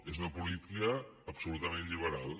és una política absolutament liberal